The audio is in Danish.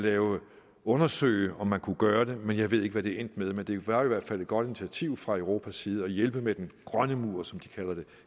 undersøge om man kunne gøre det men jeg ved ikke hvad det er endt med men det var i hvert fald et godt initiativ fra europas side at hjælpe med den grønne mur som de kalder det